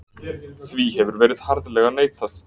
Því hefur verið harðlega neitað